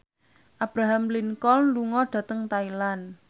Abraham Lincoln lunga dhateng Thailand